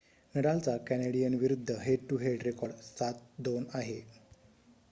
नडालचा Canadian विरुद्ध head to head record 7-2 आहे